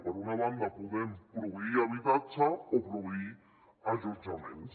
per una banda podem proveir habitatge o proveir allotjaments